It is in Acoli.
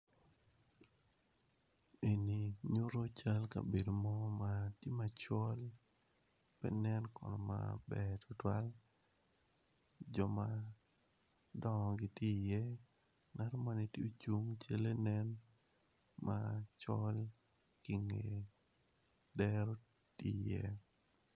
Eni nyuto cal kabedo mo ma tye macol pe nen kono maber jo madongo gitye i ye ngat mo ni tye ocung calle nen macol tye i nge dero tye iye.